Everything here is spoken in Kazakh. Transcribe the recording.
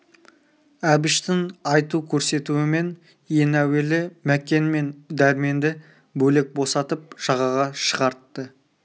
әбіштің айту көрсетуімен ең әуелі мәкен мен дәрменді бөлек босатып жағаға шығартты